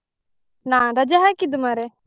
ನಾನ್ ರಜೆ ಹಾಕಿದ್ದು ಮರ್ರೆ.